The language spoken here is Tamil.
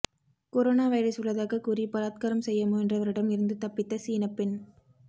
கொரோனோ வைரஸ் உள்ளதாக கூறி பலாத்காரம் செய்ய முயன்றவரிடம் இருந்து தப்பித்த சீனப்பெண்